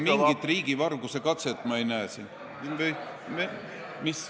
Mingit riigivarguse katset ei näe ma siin.